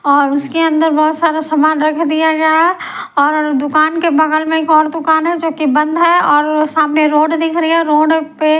और उसके अंदर बहोत सारा सामान रख दिया गया है और दुकान के बगल में एक और दुकान है जो कि बंद है और सामने रोड दिख रही है रोड पे--